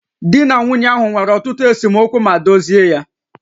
Di na nwunye ahụ nwere ọtụtụ esemokwu ma dozie ya